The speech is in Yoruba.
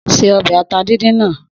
Se ọbẹ̀ ata díndín náà.